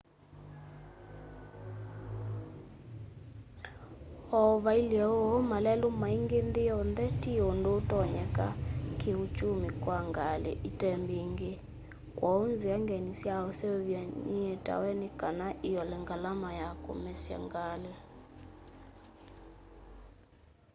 o vailye uu malelu maingi nthi yonthe ti undu utonyeka kii uchumi kwa ngali itembingi kwoou nzia ngeni sya useuvya nietawe nikana iole ngalama ya kumesya ngali